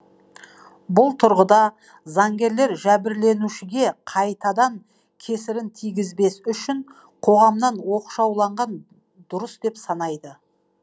бұл тұрғыда заңгерлер жәбірленушіге қайтадан кесірін тигізбес үшін қоғамнан оқшаулаған дұрыс деп санайды